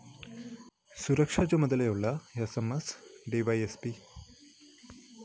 സുരക്ഷാ ചുമതയുള്ള S M S DySP K